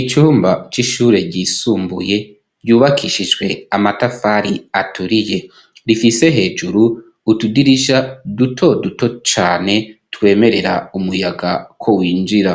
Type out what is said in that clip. icumba c'ishure ryisumbuye ryubakishijwe amatafari aturiye rifise hejuru utudirija duto duto cane twemerera umuyaga ko winjira